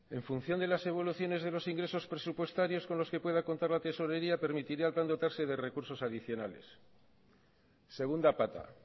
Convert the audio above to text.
en función de las evoluciones de los ingresos presupuestarios con los que pueda contar la tesorería permitirá al plan dotarse de recursos adicionales segunda pata